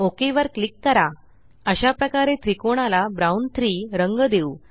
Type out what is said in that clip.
okay वर click कराltPausegt अशाप्रकारे त्रिकोणाला ब्राउन 3 रंग देऊ